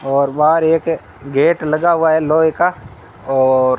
और बाहर एक गेट लगा हुआ है लोहे का और--